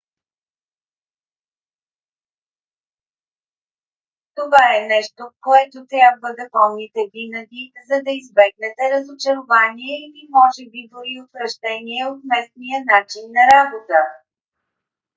това е нещо което трябва да помните винаги за да избегнете разочарование или може би дори отвращение от местния начин на работа